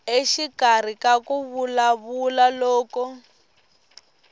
exikarhi ka ku vulavula loko